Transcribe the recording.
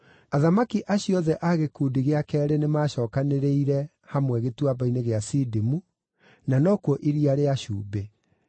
Athamaki acio othe a gĩkundi gĩa keerĩ nĩmacookanĩrĩire hamwe Gĩtuamba-inĩ gĩa Sidimu (na nokuo Iria rĩa Cumbĩ).